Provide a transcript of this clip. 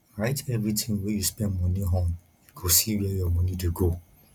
write everytin wey you spend moni on you go see where your moni dey go